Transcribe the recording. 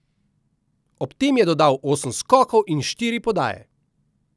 Ob tem je dodal osem skokov in štiri podaje.